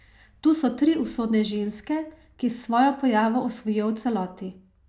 Tu so tri usodne ženske, ki s svojo pojavo osvojijo v celoti.